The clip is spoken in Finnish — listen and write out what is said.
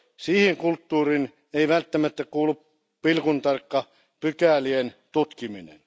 Siihen kulttuuriin ei välttämättä kuulu pilkuntarkka pykälien tutkiminen.